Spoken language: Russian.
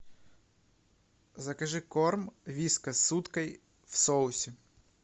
закажи корм вискас с уткой в соусе